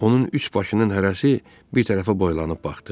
Onun üç başının hərəsi bir tərəfə boylanıb baxdı.